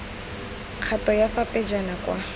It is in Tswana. kgato ya fa pejana kwa